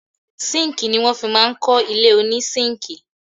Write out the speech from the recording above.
Síńkì ní wọ́n fi kọ́ ilé oní síńkì.